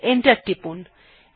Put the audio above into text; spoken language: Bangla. এন্টার টিপলাম